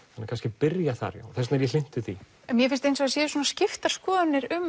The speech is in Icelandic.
kannski byrja þar já þess vegna er ég hlynntur því en mér finnst eins og það séu svona skiptar skoðanir um